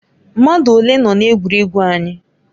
Mmadụ ole nọ na egwuregwu anyị?